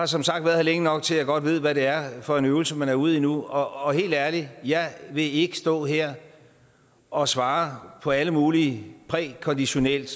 som sagt været her længe nok til at jeg godt ved hvad det er for en øvelse man er ude i nu og helt ærligt jeg vil ikke stå her og svare på alle mulige prækonditionelle